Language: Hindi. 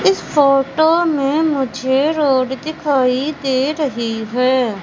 इस फोटो में मुझे रोड दिखाइ दे रही है।